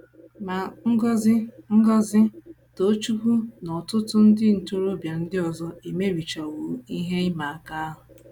Ma, Ngozi, Ngozi, Tochukwu, na ọtụtụ ndị ntorobịa ndị ọzọ emerichawo ihe ịma aka ahụ.